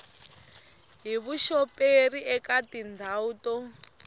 hi vuxoperi eka tindhawu to